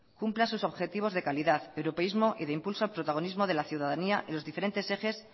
cumpla sus objetivos de calidad europeismo y de impulsa protagonismo de la ciudadanía en los diferentes ejes